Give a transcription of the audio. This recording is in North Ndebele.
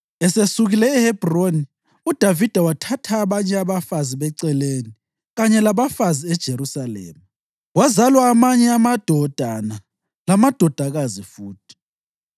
Esesukile eHebhroni uDavida wathatha abanye abafazi beceleni kanye labafazi eJerusalema, kwazalwa amanye amadodana lamadodakazi futhi.